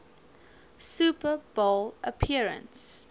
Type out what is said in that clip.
super bowl appearance